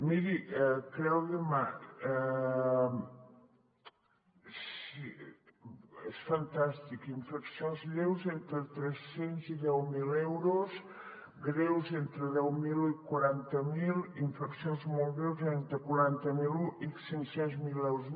miri creguin me és fantàstic infraccions lleus entre tres cents i deu mil euros greus entre deu mil i quaranta miler infraccions molt greus entre quaranta miler un i cinc cents miler euros